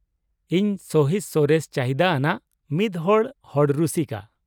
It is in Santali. ᱤᱧ ᱥᱚᱦᱤᱥ, ᱥᱚᱨᱮᱥ ᱪᱟᱦᱤᱫᱟ ᱟᱱᱟᱜ ᱢᱤᱫᱦᱚᱲ ᱦᱚᱲ ᱨᱩᱥᱤᱠᱟ ᱾